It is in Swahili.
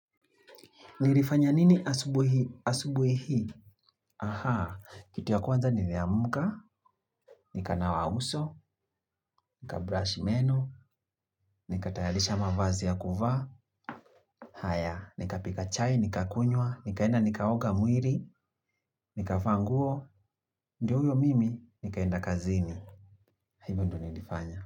Nilifanya nini asubuhi hii? Kitu ya kwanza niliamka nikanawa uso nikabrush meno nikatayarisha mavazi ya kuvaa haya nikapika chai nikakunywa nikaenda nikaoga mwili nikavaa nguo ndio huyo mimi nikaenda kazini. Hivyo ndio nilifanya.